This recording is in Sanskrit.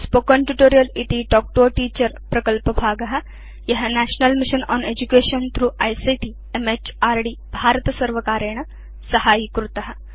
स्पोकेन ट्यूटोरियल् इति तल्क् तो a टीचर प्रकल्पभाग य national mission on education through ICT म्हृद् भारतसर्वकारेण साहाय्यीभूत